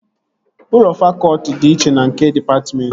Ụlọ fakọtị dị iche na nke dịpatmentị